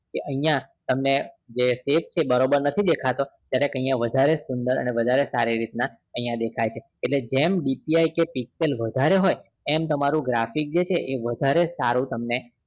કે અહિયાં તમને જે face છે એ બરોબર નથી દેખાતો જરાક અહિયાં વધારે જ સુંદર અને વધારે સારી રીત ના અહિયાં દેખાય છે એટલે જે DPI દેખાય છે pixel વધારે હોય એમ તમારું graphics છે એ વધારે સારું તમને